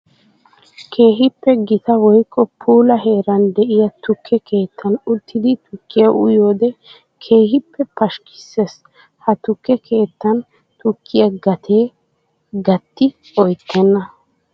Keehippe gita woykko puula heeran de'iya tukke keettan uttiddi tukkiya uyiyoode keehippe pashkkisees. Ha tukke keettan tukkiya gate gati oyttena.